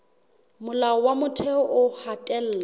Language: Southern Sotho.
molao wa motheo o hatella